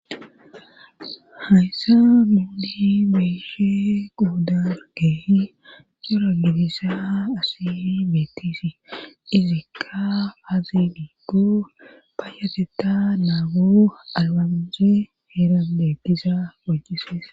hayssa muudii beyshe quuda keehi cora gilisa asii beetisi izikka hazi dhuggu ba yateta naagu alwanzi heerandeggisa moccisees